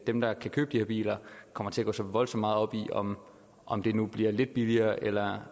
dem der kan købe de her biler kommer til at gå så voldsomt meget op i om om det nu bliver lidt billigere eller